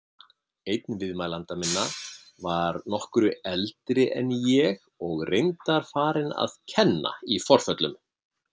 Einn viðmælenda minna var nokkru eldri en ég og reyndar farinn að kenna í forföllum.